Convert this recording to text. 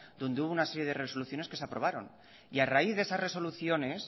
donde hubo una serie de resoluciones que se aprobaron y a raíz de esas resoluciones